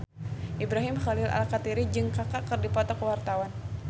Ibrahim Khalil Alkatiri jeung Kaka keur dipoto ku wartawan